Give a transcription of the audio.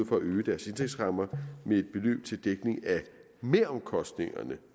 for at øge deres indtægtsrammer med et beløb til dækning af meromkostningerne